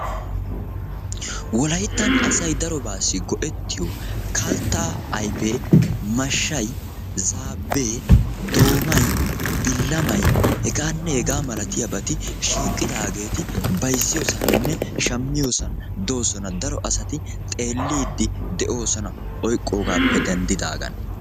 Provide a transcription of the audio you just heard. wolayttan asay darobaassi go7ettiyo kaltta ayfee mashshay, zaabbee, doomay, billamay, hegaanne hegaa malatiyaabati shiiqqidaageeti bayzziyoosaaninne shammiyoosan doosona. daro asati xeelliidi de7oosona oyqqoogaappe denddidaagan.